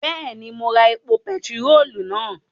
Bẹ́ẹ̀ni, mo ra epo bentiróòlù náà